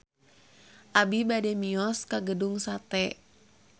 Abi bade mios ka Gedung Sate